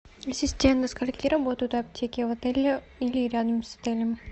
ассистент до скольки работают аптеки в отеле или рядом с отелем